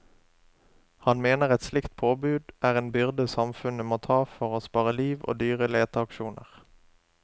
Han mener et slikt påbud er en byrde samfunnet må ta for å spare liv og dyre leteaksjoner.